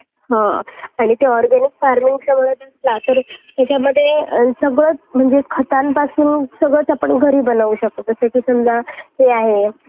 हां आणि ते organic farming यांच्यामध्ये सगळं म्हणजे खतांपासून सगळंच आपण घरी बनवू शकतो. जसे की समजा हे आहे